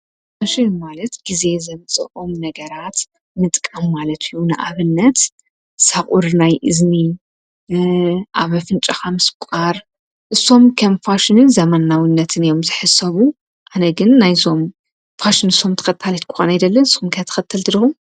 ፋሽን ማለት ጊዜ ዘምጽኦም ነገራት ምጥቃም ማለት እዩ። ንኣብነት ሶቅር ናይ እዝኒ ኣብ ኣፍንኻ ምስቋር እሶም ከም ፋሽንን ዘመናዊነትን እዮም ስሕሰቡ ኣነ ግን ናይዞም ፋሽን እሶም ትኸታሊት ክኮን ኣይደለን። ንስኩም ከ ተኸተል ዲኩም?